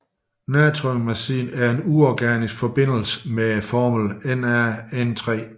Natriumazid er en uorganisk forbindelse med formlen NaN3